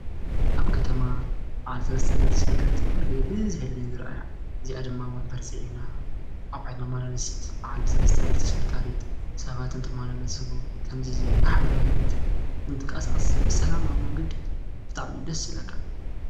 ኣብ ከተማ በዓል ሰለስተ እግሪ ተሽከርከርቲ ኩሉ ጊዜ ብዝሕ ኢለን እየን ዝረአያ፡፡ እዚኣ ድማ ወንበር ፅዒና ኣቑሑ መመላለሲት በዓል ሰለስተ እግሪ ተሽከርካሪት ሰባት እንትመላለሱ ከምዚ ዝበል ማሕበራዊ ህይወት እንትንቀሳቐስ ብሰላማዊ ኣብ መንገዲ ብጣዕሚ እዩ ደስ ዝብለካ፡፡